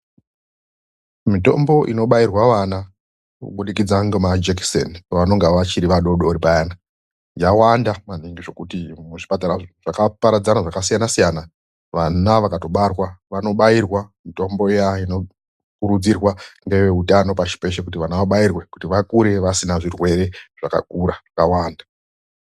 Mitombo inobairwa vana kubudikidza ngemajekiseni pevanonga vachiri vadoodori payana yawanda maningi zvekuti muzvipatara zvakaparadzana, zvakasiyanasiyana vana vakatobarwa vanobairwa mitombo iya inokurudzirwa ngeveutano pashi peshe kuti vana vabairwe kuti vakure vasina zvirwere zvakakura, zvakawanda.